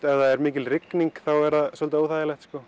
ef það er mikil rigning er það svolítið óþægilegt